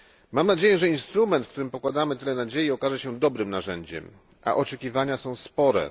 Mam nadzieję, że instrument, w którym pokładamy tyle nadziei, okaże się dobrym narzędziem, a oczekiwania są spore.